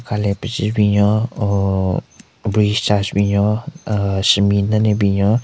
Ka le pezi binyon oo bridge cha shye binyon aahh shenbin nden ne binyon.